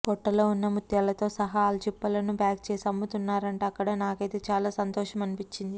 పొట్టలో ఉన్న ముత్యాలతో సహా ఆల్చిప్పలను ప్యాక్ చేసి అమ్ముతున్నారంట అక్కడ నాకైతే చాలా సంతోషం అన్పించింది